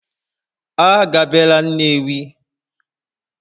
A gabela Nnewi!